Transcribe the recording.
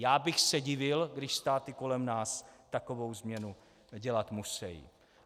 Já bych se divil, když státy kolem nás takovou změnu dělat musejí.